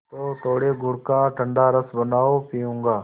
तो थोड़े गुड़ का ठंडा रस बनाओ पीऊँगा